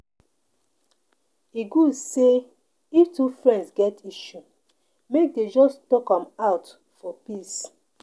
E good say if two friends get issue, make dem just talk am out for peace.